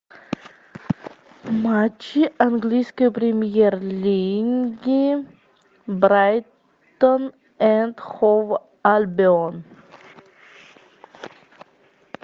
матчи английской премьер лиги брайтон энд хоув альбион